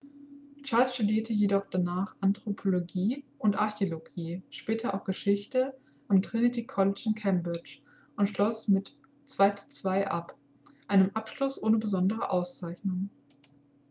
charles studierte jedoch danach anthropologie und archäologie später auch geschichte am trinity college in cambridge und schloss mit 2:2 ab einem abschluss ohne besondere auszeichnung